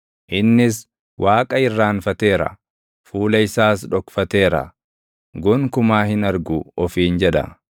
Innis, “Waaqa irraanfateera; fuula isaas dhokfateera; gonkumaa hin argu” ofiin jedha.